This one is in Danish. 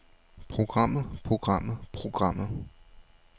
programmet programmet programmet